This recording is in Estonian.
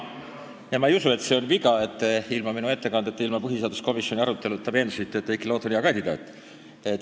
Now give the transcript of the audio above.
Ja ma ei usu, et see on viga, et te ilma minu ettekandeta ja ilma põhiseaduskomisjoni arutelust ülevaadet saamata olete olnud veendunud, et Heiki Loot on hea kandidaat.